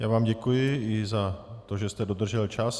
Já vám děkuji i za to, že jste dodržel čas.